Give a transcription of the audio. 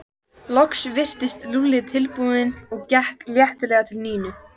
Loks virtist Lúlli tilbúinn og gekk letilega til Nínu.